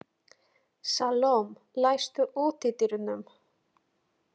Salome, læstu útidyrunum.